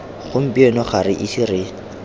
gompieno ga re ise re